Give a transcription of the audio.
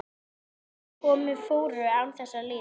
Og morgnar komu og fóru án þess að líða.